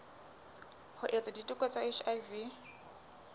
ho etsa diteko tsa hiv